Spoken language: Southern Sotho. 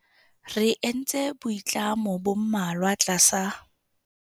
Re entse boitlamo bo mmalwa tlasa